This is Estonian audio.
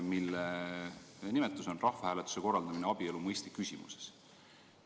Jutt on rahvahääletuse korraldamisest abielu mõiste küsimuses.